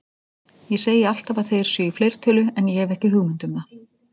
Ég segi alltaf að þeir séu í fleirtölu en ég hef ekki hugmynd um það.